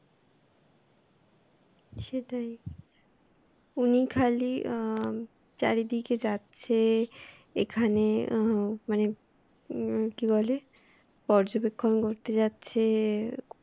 সেটাই উনি খালি অ্যাঁ চারিদিকে যাচ্ছে এখানে অ্যাঁ মানে কি বলে পর্যবেক্ষণ করতে যাচ্ছে